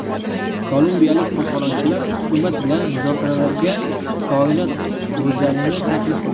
Kolumbiyalik qo‘zg‘olonchilar hukumat bilan muzokaralarga Koinot go‘zalini taklif qildi.